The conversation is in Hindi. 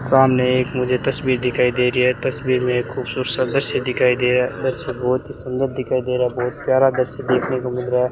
सामने एक मुझे तस्वीर दिखाई दे रही है तस्वीर में एक खूबसूरत सा दृश्य दिखाई दे रहा है दृश्य बहुत ही सुंदर दिखाई दे रहा है बहुत प्यारा दृश्य देखने को मिल रहा है।